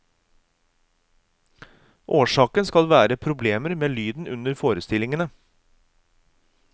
Årsaken skal være problemer med lyden under forestillingene.